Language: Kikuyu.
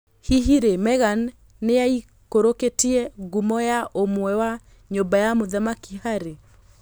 Hihi rĩ Meghan nĩaikũrũkĩtie ngumo ya ũmwe wa nyũmba ya mũthamaki Harry?